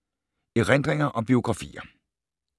Erindringer og biografier